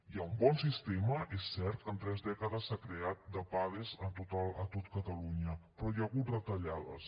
hi ha un bon sistema és cert que en tres dècades s’ha creat de pades a tot catalunya però hi ha hagut retallades